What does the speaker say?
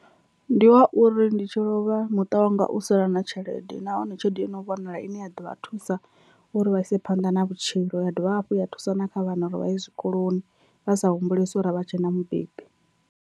Ndi wa uri ndi tshi lovha muṱa wanga u sala na tshelede nahone tshelede i no vhonala ine ya ḓo vha thusa uri vha ise phanḓa na vhutshilo, ya dovha hafhu ya thusa na kha vhana uri vha ye zwikoloni vha sa humbulesi uri a vha tshena mubebi.